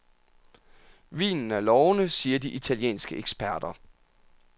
Vinen er lovende, siger de italienske eksperter.